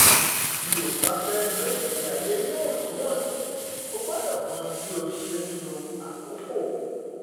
bí o bá fẹ gbé ìgbé ayé níwọntúnwọnsì o gbọdọ mọ bí o ṣe ń lo àkókò